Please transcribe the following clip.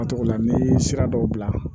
n bɛ sira dɔw bila